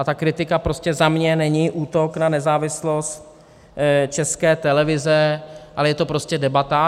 A ta kritika prostě za mě není útok na nezávislost České televize, ale je to prostě debata.